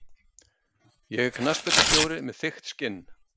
Ég er knattspyrnustjóri með þykkt skinn.